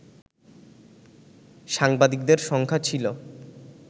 সাংবাদিকদের সংখ্যা ছিল